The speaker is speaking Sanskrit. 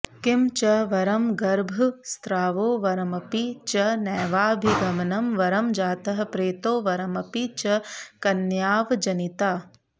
किं च वरं गर्भस्रावो वरमपि च नैवाभिगमनं वरं जातः प्रेतो वरमपि च कन्यावजनिता